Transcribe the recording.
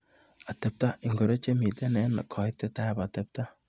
Atepta ingoro chemite eng kaitetab atepta.